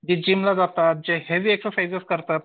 जे जिमला जातात जे हेवी एक्झरसाईझ करतात.